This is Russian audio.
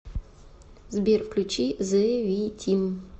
сбер включи зэ ви тим